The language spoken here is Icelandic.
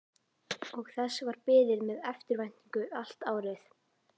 Og þess var beðið með eftirvæntingu allt árið.